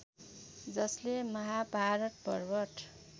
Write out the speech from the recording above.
जसले महाभारत पर्वत